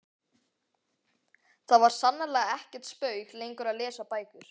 Það var sannarlega ekkert spaug lengur að lesa bækur.